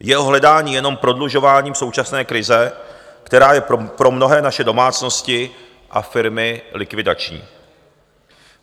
Jeho hledání je jenom prodlužováním současné krize, která je pro mnohé naše domácnosti a firmy likvidační.